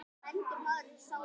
Hún: Hver ert þú?